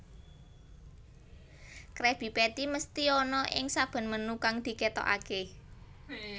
Krabby Patty mesthi ana ing saben menu kang diketokake